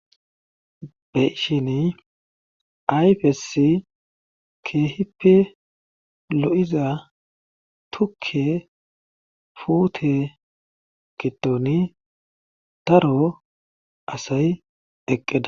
Be7ishinii ayfes keehippe lo7iza tukke puute giddoni daro asay eqqida.